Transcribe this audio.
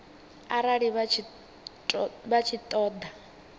arali vha tshi ṱo ḓa